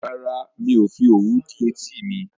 Rárá, mi ò fi òwú dí etí mi